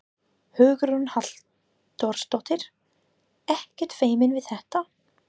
Hugrún Halldórsdóttir: Ekkert feiminn við þetta?